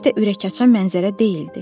Heç də ürəkaçan mənzərə deyildi.